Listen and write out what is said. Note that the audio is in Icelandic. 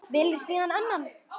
Velur síðan annan.